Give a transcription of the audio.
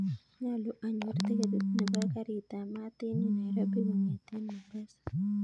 Nyolu anyor tiketit nepo karit ap maat en yuu nairobi kongeten mombasa